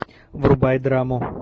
врубай драму